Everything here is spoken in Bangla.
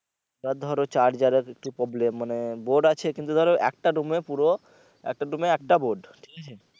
এবার ধরো charger এর একটু problem মানে বোর্ড আছে কিন্তু ধরো একটা room এ পুরো একটা room এ একটা বোর্ড